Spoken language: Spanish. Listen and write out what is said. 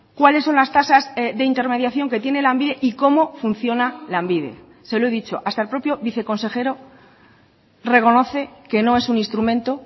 cuáles son las tasas de intermediación que tiene lanbide y cómo funciona lanbide se lo he dicho hasta el propio viceconsejero reconoce que no es un instrumento